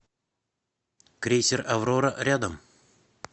крейсер аврора рядом